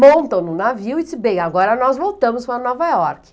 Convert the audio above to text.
Montam no navio e dizem, bem, agora nós voltamos para Nova York.